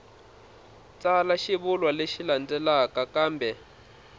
tsala xivulwa lexi landzelaka kambe